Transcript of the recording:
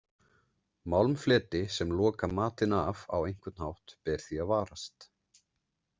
Málmfleti sem loka matinn af á einhvern hátt ber því að varast.